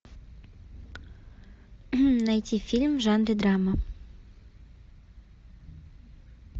найти фильм в жанре драма